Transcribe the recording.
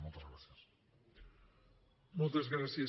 moltes gràcies